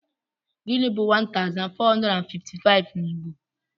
Gịnị bu 1455 n'Igbo?